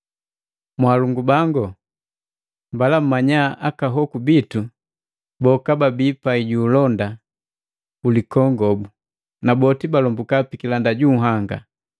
Mwalongu bangu, mbala mmanya aka hoku bitu boka babii pai ju ulonda lilikongobu, na boti balombuka pikilanda junhanga.